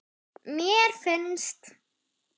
Mér finnst.